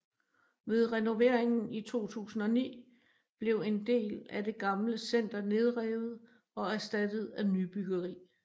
Ved renoveringen i 2009 blev en del af det gamle center nedrevet og erstattet af nybyggeri